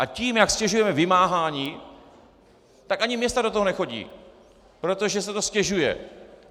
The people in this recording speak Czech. A tím, jak ztěžujeme vymáhání, tak ani města do toho nechodí, protože se to ztěžuje.